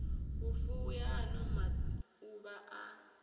vhufuwi ha ano mauvha ha